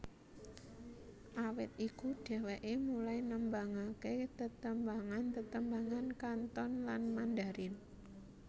Awit iku dheweké mulai nembangaké tetembangan tetembangan Kanton lan Mandarin